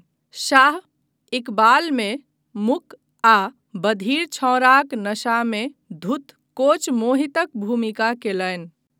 शाह 'इकबाल' मे मूक आ बधिर छौड़ाक नशामे धुत कोच मोहितक भूमिका कयलनि।